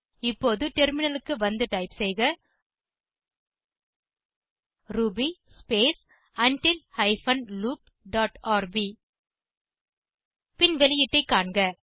இப்போது டெர்மினலுக்கு வந்து டைப் செய்க ruby space until hyphen loop dot RB பின் வெளியீட்டை காண்க